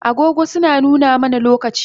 Agogo suna nuna mana lokaci